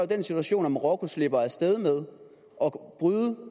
den situation at marokko slipper af sted med